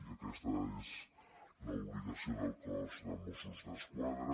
i aquesta és l’obligació del cos de mossos d’esquadra